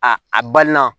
A a balima